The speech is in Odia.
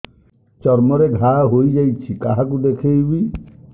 ଚର୍ମ ରେ ଘା ହୋଇଯାଇଛି କାହାକୁ ଦେଖେଇବି